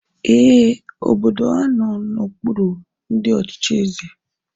Ee, obodo a nọ n'okpuru ndị ọchịchị eze